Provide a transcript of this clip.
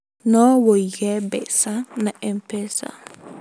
No ũige mbeca na MPESA